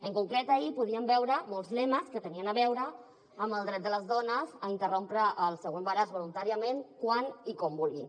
en concret ahir podíem veure molts lemes que tenien a veure amb el dret de les dones a interrompre el seu embaràs voluntàriament quan i com vulguin